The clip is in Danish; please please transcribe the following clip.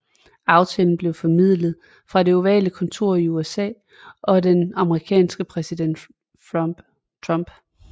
Aftalen blev formidlet fra Det Ovale Kontor af USA og den amerikanske præsident Trump